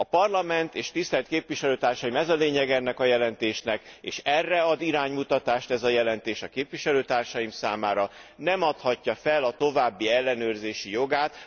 A Parlament, és tisztelt képviselőtársim ez a lényege ennek a jelentésnek, és erre ad iránymutatást ez a jelentés a képviselőtársaim számára nem adhatja fel a további ellenőrzési jogát.